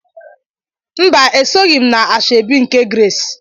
Mba, esoghị m na asoebi nke Grace.